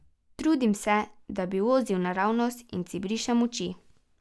Trudim se, da bi vozil naravnost, in si brišem oči.